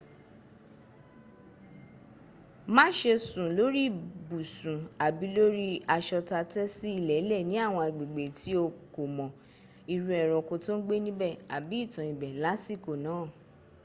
mase sun lori ibusun abi lori aso ta te si ilele ni awon agbegbe ti o komo iru eranko to n gbe nibe abi itan ibe lasiko naa